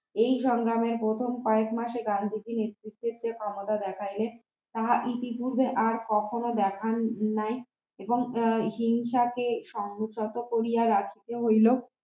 এই সংগ্রামের প্রথম কয়েক মাসে গান্ধীজি নেতৃত্বের যে ক্ষমতা দেখাইলেন তাহা ইতি পূর্বে আর কখনো দেখানো নাই এবং হিংসাকে সংযত করিয়া রাখিতে হইল